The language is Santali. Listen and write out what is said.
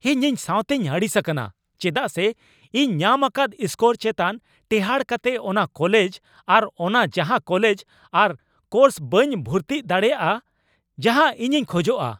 ᱤᱧ ᱤᱧ ᱥᱟᱣᱛᱮᱧ ᱟᱹᱲᱤᱥ ᱟᱠᱟᱱᱟ ᱪᱮᱫᱟᱜ ᱥᱮ ᱤᱧ ᱧᱟᱢ ᱟᱠᱟᱫ ᱥᱠᱳᱨ ᱪᱮᱛᱟᱱ ᱴᱮᱸᱦᱟᱰ ᱠᱟᱛᱮᱜ ᱚᱱᱟ ᱠᱚᱞᱮᱡ ᱟᱨ ᱚᱱᱟ ᱡᱟᱦᱟᱸ ᱠᱚᱞᱮᱡ ᱟᱨ ᱠᱚᱨᱥ ᱵᱟᱹᱧ ᱵᱷᱩᱨᱛᱤᱜ ᱫᱟᱲᱮᱭᱟᱜᱼᱟ ᱡᱟᱦᱟᱸ ᱤᱧᱤᱧ ᱠᱷᱚᱡᱚᱜᱼᱟ ᱾